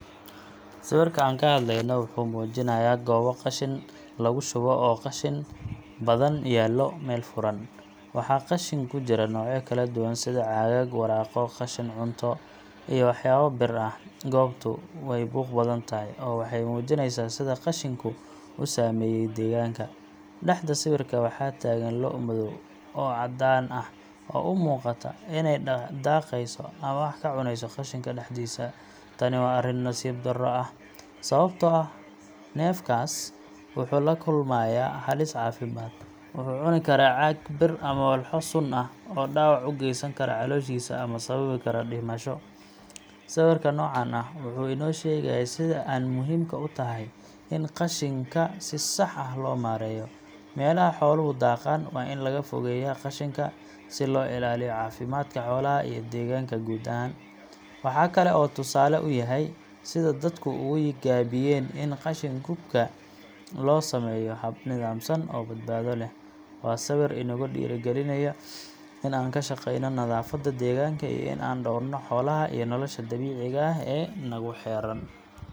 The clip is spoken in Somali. Sawirka aan ka hadlayno wuxuu muujinayaa goob qashin lagu shubo oo qashin badan yaallo meel furan. Waxaa qashin ku jira noocyo kala duwan sida caagag, waraaqo, qashin cunto, iyo waxyaabo bir ah. Goobtu way buuq badan tahay, oo waxay muujinaysaa sida qashinku u saameeyay deegaanka. Dhexda sawirka waxaa taagan lo’ madow ama caddaan ah oo u muuqata inay daaqeyso ama wax cuneyso qashinka dhexdiisa. Tani waa arrin nasiib darro ah, sababtoo ah neefkaas wuxuu la kulmayaa halis caafimaad wuxuu cuni karaa caag, bir ama walxo sun ah oo dhaawac u geysan kara calooshiisa ama sababi kara dhimasho. Sawirka noocan ah wuxuu inoo sheegayaa sida aan muhiimka u tahay in qashinka si sax ah loo maareeyo. Meelaha xooluhu daaqaan waa in laga fogeeyaa qashinka, si loo ilaaliyo caafimaadka xoolaha iyo deegaanka guud ahaan. Waxa kale oo uu tusaale u yahay sida dadku uga gaabiyeen in qashin qubka loo sameeyo hab nidaamsan oo badbaado leh. Waa sawir inagu dhiirrigelinaya in aan ka shaqeyno nadaafadda deegaanka iyo in aan dhowrno xoolaha iyo nolosha dabiiciga ah ee nagu xeeran.